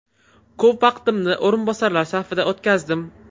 Ko‘p vaqtimni o‘rinbosarlar safida o‘tkazdim.